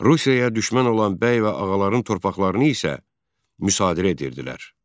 Rusiya düşmən olan bəy və ağaların torpaqlarını isə müsadirə edirdilər.